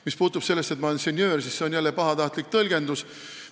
Mis puutub sellesse, et ma olen senjöör, siis see on jälle pahatahtlik tõlgendus.